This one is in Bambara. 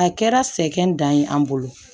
A kɛra sɛgɛn dan ye an bolo